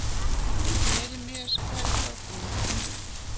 Jeremías, hvar er dótið mitt?